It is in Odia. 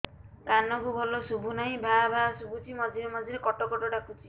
କାନକୁ ଭଲ ଶୁଭୁ ନାହିଁ ଭାଆ ଭାଆ ଶୁଭୁଚି ମଝିରେ ମଝିରେ କଟ କଟ ଡାକୁଚି